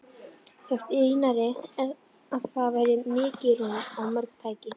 Þótti Einari, að þar væri mikið rúm og mörg tæki.